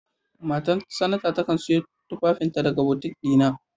Matan sanata takan sayo tufafin ta daga butiƙ na.